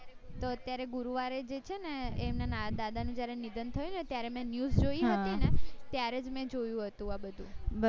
તો અત્યારે ગુરુવારે જે છે ને એ એમના નાના દાદા ને જયારે નિધન થયું ને ત્યારે મેં news જોયી હતી ને ત્યારેજ મેં જોયું હતું આ બધું